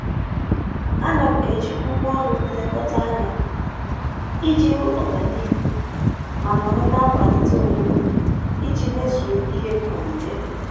A na m eji ngwaọrụ nlekọta anya iji hụ ọganihu ma nọrọ na-akwalite onwe m iji mezue ihe m malitere.